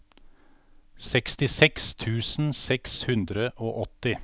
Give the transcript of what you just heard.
sekstiseks tusen seks hundre og åtti